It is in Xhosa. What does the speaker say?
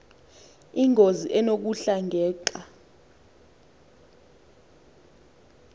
ingozi enokuhla ngeuxa